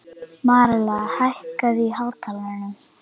Marela, hækkaðu í hátalaranum.